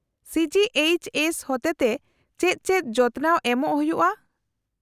-ᱥᱤ G H S ᱦᱚᱛᱮᱛᱮ ᱪᱮᱫ ᱪᱮᱫ ᱡᱚᱛᱚᱱᱟᱣ ᱮᱢᱚᱜ ᱦᱩᱭᱩᱜᱼᱟ ?